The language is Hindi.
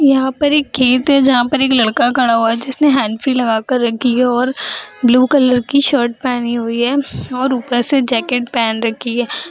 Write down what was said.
यहा पर एक खेत है जहाँ पर एक लड़का खड़ा हुआ है जिसने हैंडफ्री लगा के रखी है और ब्लू कलर की शर्ट पहनी हुई है और ऊपर से जैकेट पहन रखी है ।